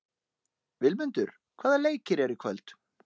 Vilmundur, hvaða leikir eru í kvöld?